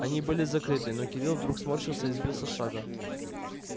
они были закрыты но кирилл вдруг сморщился и сбился с шага